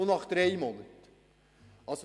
Wie sieht es nach drei Monaten aus?